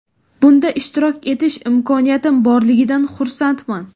Bunda ishtirok etish imkoniyatim borligidan xursandman.